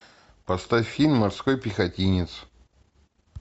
поставь фильм морской пехотинец